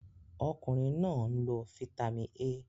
Okunrin naa n lo Fítàmì A.